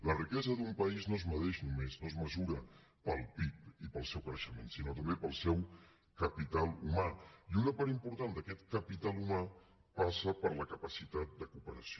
la riquesa d’un país no es mesura només pel pib i pel seu creixement sinó també pel seu capital humà i una part important d’aquest capital humà passa per la capacitat de cooperació